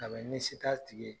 Ka bɛɛ ni se t'a tigi ye